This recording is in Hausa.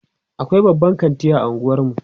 e akwai babban kanti a unguwarmu